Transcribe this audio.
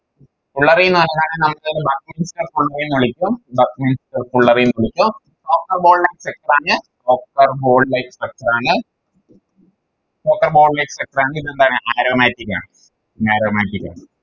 fullerene ന്ന് പറഞ്ഞാൽ നമുക്ക് Buffer fullerene ന്ന് വിളിക്കും Buffer fullerene ന്ന് വിളിക്കും water ball like structure ആണ് ball like structure ആണ് water ball like structure പിന്നെന്താണ് Aromatic ആണ് Aromatic ആണ്